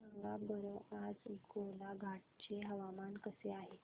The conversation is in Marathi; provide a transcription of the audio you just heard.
सांगा बरं आज गोलाघाट चे हवामान कसे आहे